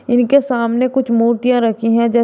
इनके सामने कुछ मूर्तियां रखी हैं जैस--